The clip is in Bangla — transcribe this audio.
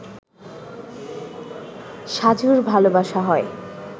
সাজুর ভালোবাসা হয়